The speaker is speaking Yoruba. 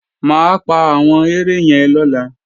Mà á pa àwọn ere yẹn lọ́la